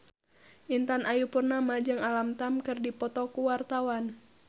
Intan Ayu Purnama jeung Alam Tam keur dipoto ku wartawan